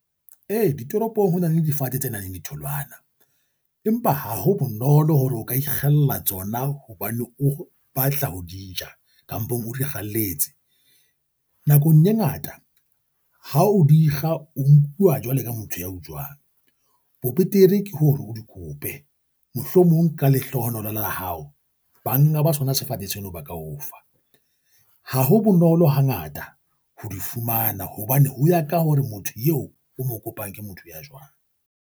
E, ditoropong ho na le difate tse nang le ditholwana, empa ha ho bonolo hore o ka ikgella tsona hobane o batla ho di ja kampong o di kgalletse. Nakong e ngata, ha o di kga o nkuwa jwalo ka motho ya utswang, bo betere ke hore o di kope mohlomong ka lehlohonolo la hao banga ba sona tshwanetseng leo ba ka o fa, ha ho bonolo hangata ho di fumana hobane, ho ya ka hore motho eo o mo kopang ke motho ya jwang.